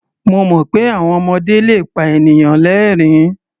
Mo mọ̀ pé àwọn ọmọdé le pa ènìyàn lẹ́rìn-ín.